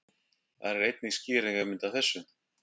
Þar er einnig skýringarmynd af þessu.